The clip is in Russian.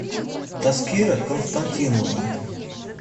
таскира константиновна